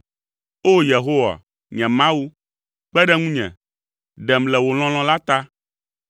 O! Yehowa, nye Mawu, kpe ɖe ŋunye, ɖem le wò lɔlɔ̃ la ta.